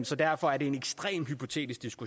så derfor er det en ekstremt hypotetisk